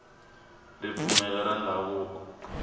ripfumelo ra ndhavuko